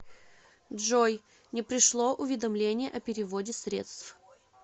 джой не пришло уведомление о переводе средств